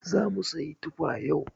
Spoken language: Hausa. zamu siyi tufa yau.